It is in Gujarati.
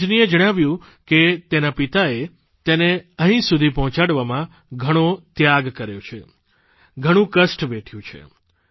રજનીએ જણાવ્યું કે તેના પિતાએ તેને અહીં સુધી પહોંચાડવામાં ઘણો ત્યાગ કર્યો છે ઘણું કષ્ટ વેઠ્યું છે